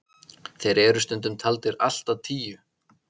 þeir eru stundum taldir allt að tíu